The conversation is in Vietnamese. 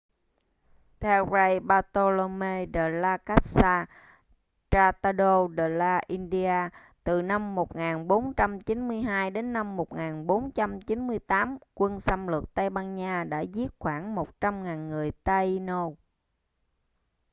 theo fray bartolomé de las casas tratado de las indias từ năm 1492 đến năm 1498 quân xâm lược tây ban nha đã giết khoảng 100.000 người taíno